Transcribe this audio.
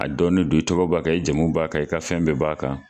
A dɔnnen don i tɔgɔ b'a kan i jamu b'a kan i ka fɛn bɛɛ b'a kan.